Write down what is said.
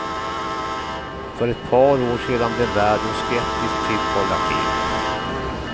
För ett par år sedan blev världen skeptisk till kollagenet.